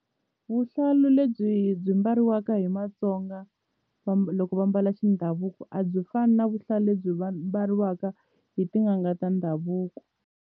Vuhlalu lebyi byi mbariwaka hi Matsonga loko va mbala xindhavuko a byi fani na vuhlalu lebyi mbariwaka hi tin'anga ta ndhavuko.